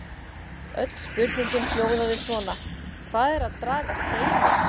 Öll spurningin hljóðaði svona: Hvað er að draga seiminn?